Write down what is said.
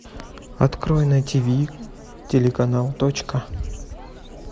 открой на тиви телеканал точка